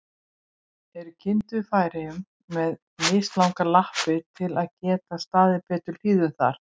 Eru kindur í Færeyjum með mislangar lappir, til að geta staðið betur í hlíðunum þar?